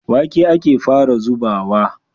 Wake ake fara zubawa.